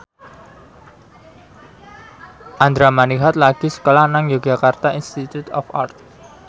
Andra Manihot lagi sekolah nang Yogyakarta Institute of Art